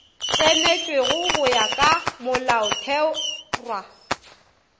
tsenetšwego go ya ka molaotherwa